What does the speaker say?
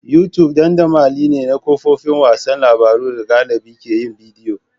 YouTube dandamali ne na kafofin watsa labarun da galibi ke yin bidiyo.